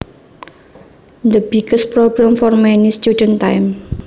The biggest problem for many students time